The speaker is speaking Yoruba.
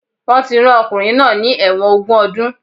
Wọ́n ti rán ọkùnrin náà ní ẹ̀wọ̀n ogún ọdún